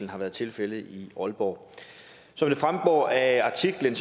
har været tilfældet i aalborg som det fremgår af artiklen